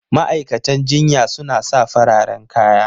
Ma'aikatan jinya suna sa fararen kaya